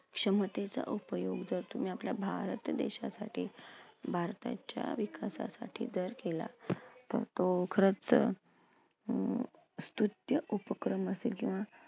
क्षमतेचा उपयोग जर तुम्ही आपल्या भारत देशासाठी भारताच्या विकासासाठी जर केला तर तो खरंच अं उपक्रम असेल किंवा